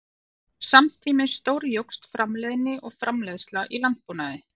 Samtímis stórjókst framleiðni og framleiðsla í landbúnaði.